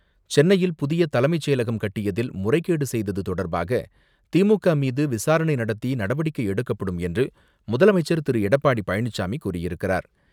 சென்னையில் புதிய தலைமைச் செயலகம் கட்டியதில் முறைகேடு செய்தது தொடர்பாக திமுக மீது விசாரணை நடத்தி நடவடிக்கை எடுக்கப்படும் என்று முதலமைச்சர் திரு. எடப்பாடி பழனிசாமி கூறியிருக்கிறார்.